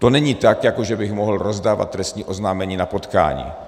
To není tak, jako že bych mohl rozdávat trestní oznámení na potkání.